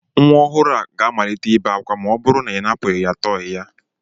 Nwa ọhụrụ a ga-amalite ibe ákwá ma ọ bụrụ na ị napụ ya tọyị ya